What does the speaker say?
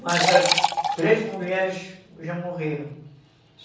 Mas as três mulheres já morreram.